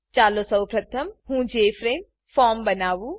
ચાલો સૌપ્રથમ હું જેએફઆરએમઈ જેફ્રેમ ફોર્મ બનાવું